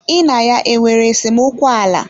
Ị na ya nwere esemokwu ala?